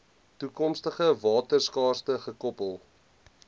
toekomstige waterskaarste gekoppel